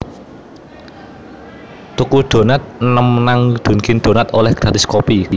Tuku donat enem nang Dunkin' Donuts oleh gratis kopi